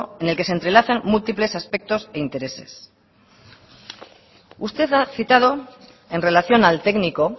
en el que se entrelazan múltiples aspectos e intereses usted ha citado en relación al técnico